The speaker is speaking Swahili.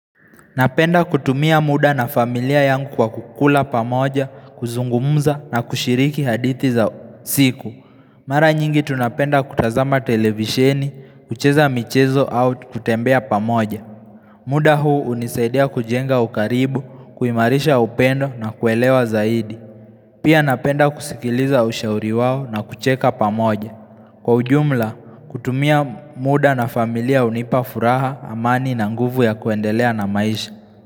Napenda kutumia muda na familia yangu kwa kukula pamoja kuzungumza na kushiriki hadithi za siku Mara nyingi tunapenda kutazama televisheni, kucheza michezo au kutembea pamoja muda huu unisaidia kujenga ukaribu, kuimarisha upendo na kuelewa zaidi Pia napenda kusikiliza ushauri wawo na kucheka pamoja Kwa ujumla, kutumia muda na familia unipa furaha, amani na nguvu ya kuendelea na maisha.